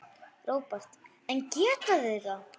Róbert: En geta þeir það?